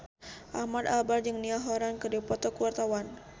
Ahmad Albar jeung Niall Horran keur dipoto ku wartawan